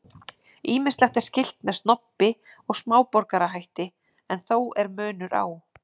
Ýmislegt er skylt með snobbi og smáborgarahætti en þó er munur á.